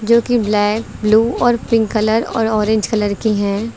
जो कि black blue और पिंक कलर और ऑरेंज कलर की है।